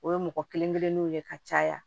O ye mɔgɔ kelen kelenninw ye ka caya